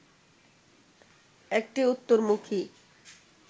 একটি উত্তরমুখী